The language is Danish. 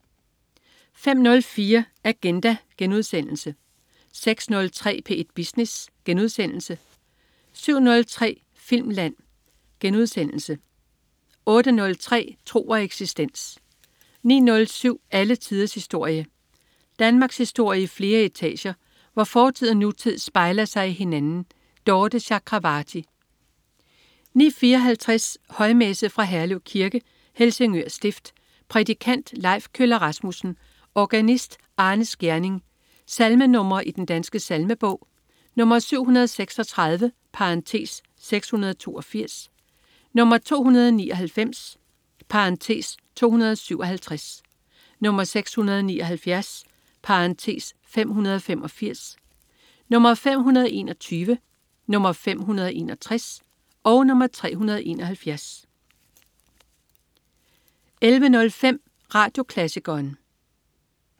05.04 Agenda* 06.03 P1 Business* 07.03 Filmland* 08.03 Tro og eksistens 09.07 Alle tiders historie. Danmarkshistorie i flere etager, hvor fortid og nutid spejler sig i hinanden. Dorthe Chakravarty 09.54 Højmesse. Fra Herlev Kirke, Helsingør stift. Prædikant: Leif Kjøller-Rasmussen. Organist: Arne Skjerning. Salmenr. i Den Danske Salmebog: 736 (682), 299 (257), 679 (585), 521, 561, 371 11.05 Radioklassikeren